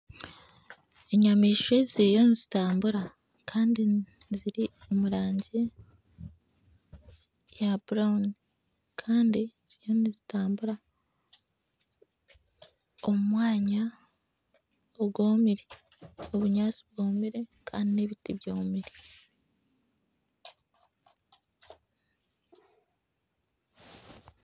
Enyamaishwa ziriyo nizitambura ziri omurangi ya butawuni Kandi ziriyo nizitambura omu mwanya ogwomire obunyatsi bwomire Kandi n'ebiti byomire